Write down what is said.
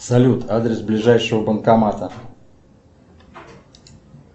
салют адрес ближайшего банкомата